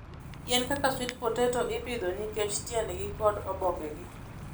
Yien kaka sweet potato ipidho nikech tiendgi kod obokegi.